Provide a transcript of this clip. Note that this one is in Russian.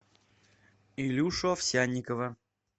илюшу овсянникова